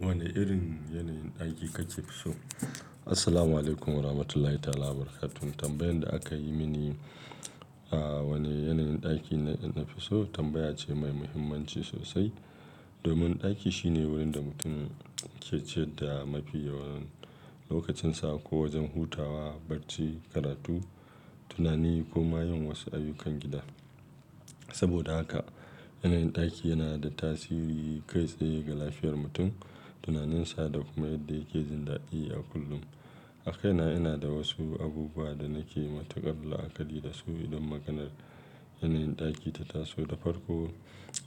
Wane irin yanayin ɗaki kake so? Assalamualaikum Warahmatullahi ta'ala Wabarakatuh. Tambayan da aka yi mini, a wane yanayin ɗaki na fi so, tambaya ce mai muhimmanci sosai. Domin ɗaki shine wurin da mutum ke ciyar da mafi yawan lokacinsa ko wajen hutawa, barci, karatu, tunani ko ma yin wasu ayyukan gida. Saboda haka, yanayin ɗaki yana da tasiri kai tsaye ga lafiyar mutum, tunaninsa da kuma yadda yake jin daɗi a kullum. A kaina ina da wasu abubuwa da nake matuƙar la'akari da su idan maganar yanayin ɗaki ta taso. Da farko,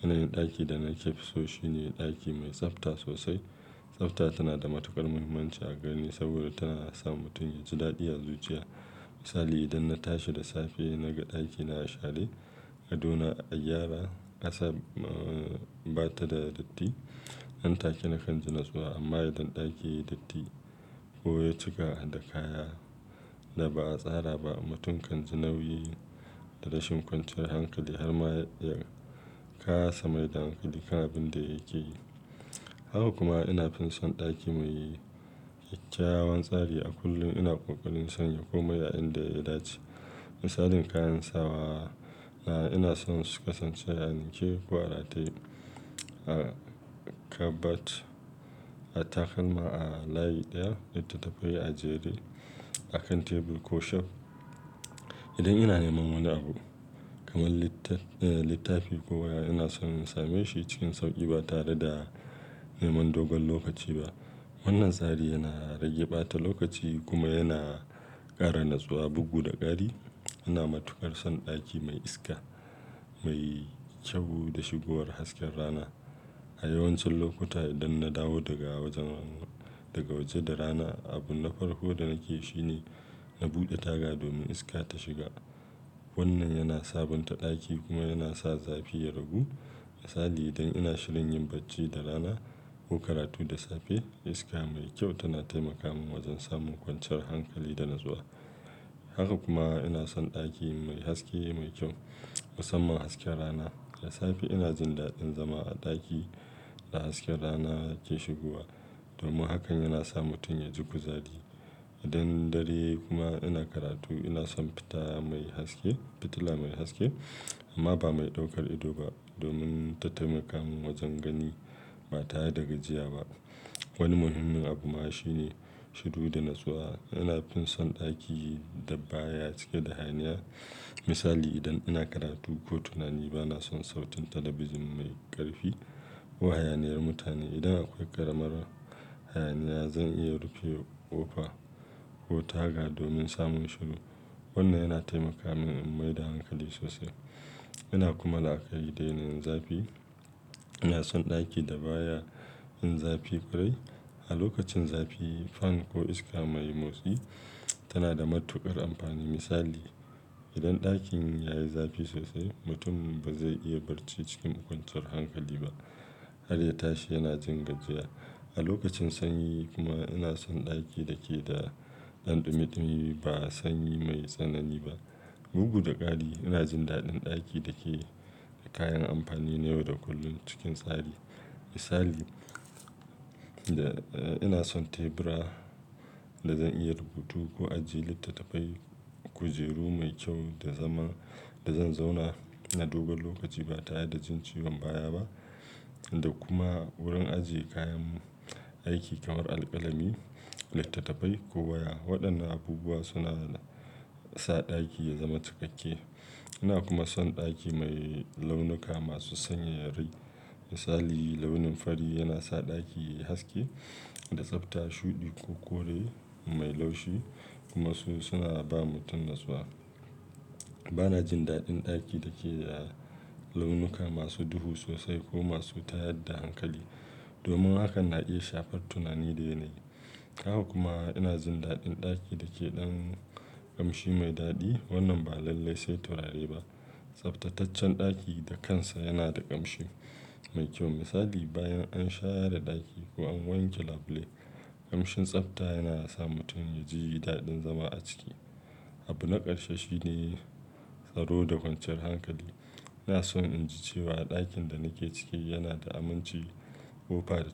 yanayin ɗaki da nake so shine ɗaki mai tsafta sosai. Tsafta tana da matuƙar muhimmanci a gare ni saboda tana sa mutum ya ji daɗi a zuciya. Misali, idan na tashi da safe na ga ɗakina a share, gado na a gyara, ƙasan ba ta da datti, nan take na kan ji natsuwa amma idan ɗaki ya yi datti ko ya cika da kaya da ba a tsara ba, mutum kan ji nauyi da rashin kwanciyar hankali har ma ya kasa mai da hankali kan abin da yake yi. Haka kuma ina fin son ɗaki mai kyakkyawan tsari. A kullum ina ƙoƙarin sanya komai a inda ya dace. Misalin kayan sawa, ina son su kasance a ninke ko a rataye a kabat, a takalma a layi ɗaya, littattafai a jere a kan tebur ko shelf. Idan ina neman wani abu kamar littaf-littafi ko waya ina son in same shi cikin sauƙi ba tare da neman dogon lokaci ba. Wannan tsari yana rage ɓata lokaci kuma yana ƙara natsuwa, bugu da ƙari. Ina matuƙar son ɗaki mai iska mai kyau da shigowar hasken rana. A yawancin lokuta idan na dawo daga waje da rana, abu na farko da nake yi shine na buɗe taga domin iska ta shiga. Wannan yana sabonta ɗaki kuma yana sa zafi ya ragu. Misali, idan ina shirin yin bacci da rana ko karatu da safe, iska mai kyau tana taimaka min wajen samun kwanciyar hankali da natsuwa. Haka kuma ina son ɗaki mai haske mai kyau, musamman hasken rana. Da safe ina jin daɗin zama a ɗaki da hasken rana ke shigowa domin hakan yana sa mutum ya ji kuzari. Idan dare kuma ina karatu ina son fitila mai haske amma ba mai ɗaukar ido ba domin ta taimaka min wajen gani ba tare da gajiya ba. Wani muhimmin abu ma shi ne shuru da natsuwa. Ina fin son ɗaki da baya cike da hayaniya. Misali, idan ina karatu ko tunani ba na son sautin talabijin mai ƙarfi ko hayaniyar mutane. Idan akwai ƙaramar hayaniya, zan iya rufe ƙofa ko taga domin samun shuru. Wannan yana taimaka min in mai da hankali sosai. Ina kuma la'akari da yanayin zafi. Ina son ɗaki da baya yin zafi ƙwarai. A lokacin zafi, fan ko iska mai motsi tana da matuƙar amfani. Misali, idan ɗakin ya yi zafi sosai, mutum ba zai iya barci cikin ƙwanciyar hankali ba. Har ya tashi yana jin gajiya. A lokacin sanyi kuma ina son ɗaki da ke da ɗanɗumiɗumi ba sanyi mai tsanani ba. Bugu da ƙari ina jin daɗin ɗaki da ke da kayan amfani na yau da kullum cikin tsari. Misali, ina son tebura da zan iya rubutu ko ajiye littattafai, kujeru mai kyau da zama da zan zauna na dogon lokaci ba tare da jin ciwon baya ba da kuma wurin ajiye kayan aiki kamar alkalami, littattafai ko waya. Waɗannan abubuwa suna sa ɗaki ya zama cikakke. Ina kuma son ɗaki mai launuka masu sanyayyar rai. Misali, launin fari yana sa ɗaki ya yi haske da tsafta. Shuɗi ko kore mai laushi, kuma suna ba mutum natsuwa, bana jin daɗin ɗaki dake da launuka masu duhu sosai ko masu tayar da hankali, domin hakan na iya shafan tunani da yanayi. Haka kuma ina jin daɗin ɗaki da ke ɗan ƙamshi mai daɗi. Wannan ba lalle sai turare ba. Tsaftataccen ɗaki da kansa yana da ƙamshi mai kyau. Misali, bayan an share ɗaki ko an wanke labule, ƙamshin tsafta yana sa mutum ya ji daɗin zama a ciki. Abu na ƙarshe shi ne tsaro da kwanciyar hankali. Ina son in ji cewa ɗakin da nake ciki yana da aminci, ƙofa da.